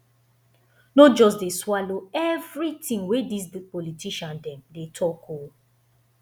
no just dey swallow everytin wey dis politician dem dey talk o